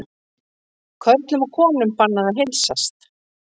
Körlum og konum bannað að heilsast